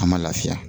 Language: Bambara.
An ma lafiya